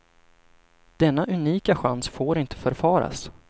Denna unika chans får inte förfaras.